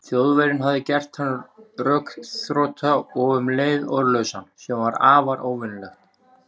Þjóðverjinn hafði gert hann rökþrota og um leið orðlausan, sem var afar óvenjulegt.